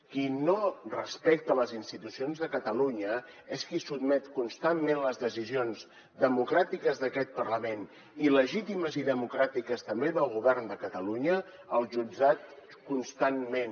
qui no respecta les institucions de catalunya és qui sotmet constantment les decisions democràtiques d’aquest parlament i legítimes i democràtiques també del govern de catalunya als jutjats constantment